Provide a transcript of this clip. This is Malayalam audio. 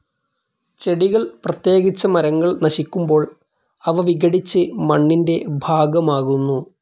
ചെടികൾ, പ്രത്യേകിച്ച് മരങ്ങൾ നശിക്കുമ്പോൾ, അവ വിഘടിച്ച് മണ്ണിന്റെ ഭാഗമാകുന്നു.